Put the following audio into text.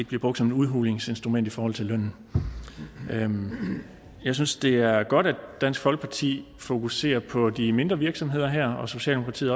bliver brugt som et udhulingsinstrument i forhold til lønnen lønnen jeg synes det er godt at dansk folkeparti fokuserer på de mindre virksomheder her socialdemokratiet